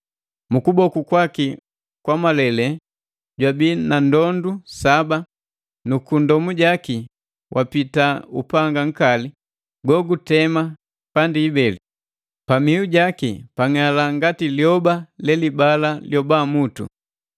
Mu kuboku kwaki wa kwamalele jwabii na ndondu saba, nu kunndomu jaki wapita upanga nkali go gutema kubeli. Pa mihu jaki pang'ala ngati liyoba la liyoba mutu.